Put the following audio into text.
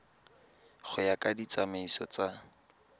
go ya ka ditsamaiso tsa